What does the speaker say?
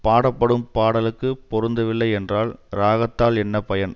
பாடப்படும் பாடலுக்குப் பொருந்தவில்லை என்றால் ராகத்தால் என்ன பயன்